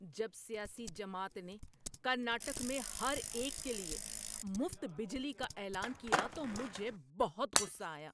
جب سیاسی جماعت نے کرناٹک میں ہر ایک کے لیے مفت بجلی کا اعلان کیا تو مجھے بہت غصہ آیا۔